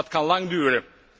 Dat kan lang duren.